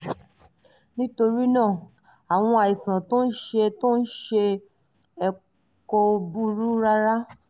nítorí náà àwọn àìsàn tó ń ṣe tó ń ṣe ẹ́ kò burú rárá